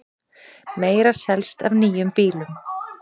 Meira selst af nýjum bílum